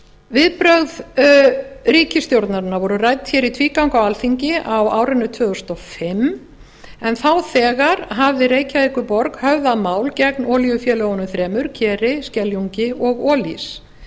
viðbrögð ríkisstjórnarinnar voru rædd hér í tvígang á alþingi á árinu tvö þúsund og fimm en þá þegar hafði reykjavíkurborg höfðað mál gegn olíufélögunum þremur keri skeljungi og olís